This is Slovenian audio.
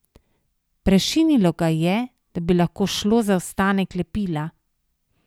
Prešinilo ga je, da bi lahko šlo za ostanek lepila.